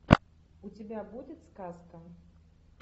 у тебя будет сказка